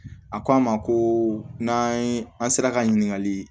A ko an ma ko n'an ye an sera ka ɲininkali